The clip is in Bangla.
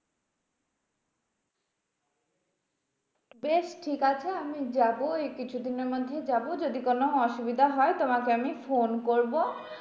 বেশ ঠিকাছে আমি যাবো। এই কিছুদিনের মধ্যেই যাবো, যদি কোনো অসুবিধা হয়? তোমাকে আমি ফোন করবো।